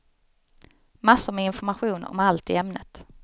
Massor med information om allt i ämnet.